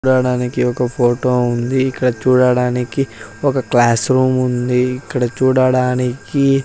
చూడడానికి ఒక ఫోటో ఉంది ఇక్కడ చూడడానికి ఒక క్లాస్ రూమ్ ఉంది ఇక్కడ చూడడానికి--